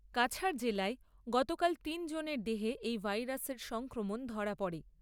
কাছাড় জেলায় গতকাল তিন জনের দেহে এই ভাইরাসের সংক্রমণ ধরা পড়ে।